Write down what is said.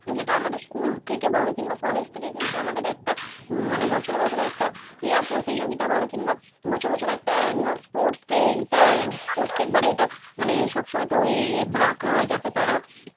যেটা আমাদের school থেকে বল কিংবা college থেকে কিন্তু আমাদের একটা মানে বছরে বছরে একটা ক্রীড়া প্রতিযোগিতা বলো কিংবা বছরে বছরে একটা annual sports এইটা প্রত্যেকবার এটা মানে সব সময়তে ওই রাখা হয় যাতে তাঁরা